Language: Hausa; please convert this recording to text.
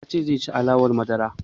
Ya ce zai ci alewar madara